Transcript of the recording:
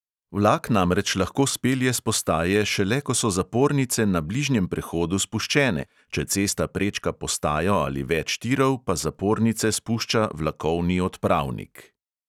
Vlak namreč lahko spelje s postaje šele, ko so zapornice na bližnjem prehodu spuščene, če cesta prečka postajo ali več tirov, pa zapornice spušča vlakovni odpravnik.